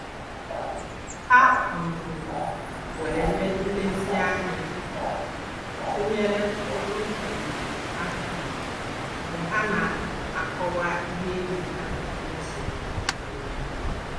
Ha um were nlezianya tụnyere olu um ha mgbe ha na akọwa ihe enyi ha rụzuru. um